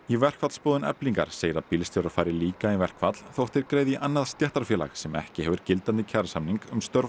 í verkfallsboðun Eflingar segir að bílstjórar fari líka í verkfall þótt þeir greiði í annað stéttarfélag sem ekki hefur gildandi kjarasamning um störf